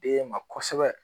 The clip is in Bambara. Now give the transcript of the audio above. Den ma kɔsɛbɛ